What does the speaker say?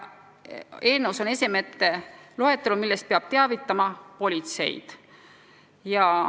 Eelnõus on ka esemete loetelu, millest peab teavitama politseid.